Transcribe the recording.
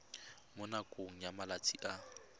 mo nakong ya malatsi a